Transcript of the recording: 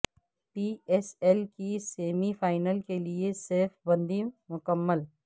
پی S L کی semi final کیلئے صف بندی مکمل